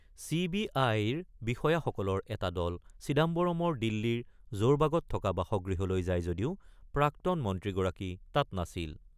C বি আইৰ বিষয়াসকলৰ এটা দল চিদাম্বৰমৰ দিল্লীৰ জোৰবাগত থকা বাসগৃহলৈ যায় যদিও প্ৰাক্তন মন্ত্ৰীগৰাকী তাত নাছিল।